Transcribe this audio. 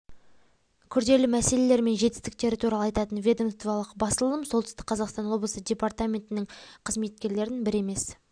күрделі мәселелері мен жетістіктері туралы айтатын ведомстволық басылым солтүстік қазақстан облысы департаментнің қызметкерлерін бір емес